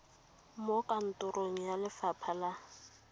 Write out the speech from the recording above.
mo kantorong ya lefapha la